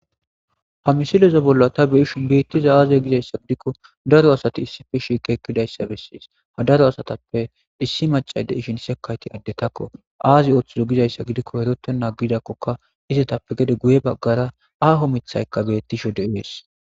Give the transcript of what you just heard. ha misileza bolla ta beishin beettiza aaze gizayssa gidikko daro asati issife shiike ekkidayssa bessies ha daro asatappe issi macade ishin sekayti addetakko aazi ooththido gizayssa gidikko erotena gidakkoka izetappe gede guye baggara aaho mithayka bettisho de ees